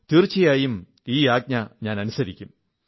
തീർച്ചയായും ഈ ആജ്ഞ ഞാൻ അനുസരിക്കും